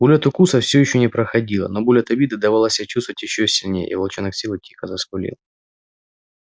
боль от укуса всё ещё не проходила но боль от обиды давала себя чувствовать ещё сильнее и волчонок сел и тихо заскулил